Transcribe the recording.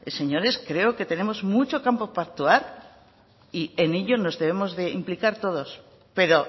señores creo que tenemos mucho campo para actuar y en ello nos debemos implicar todos pero